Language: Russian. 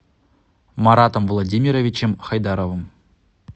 маратом владимировичем хайдаровым